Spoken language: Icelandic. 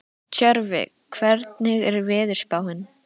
Tjörvi, hvernig er veðurspáin?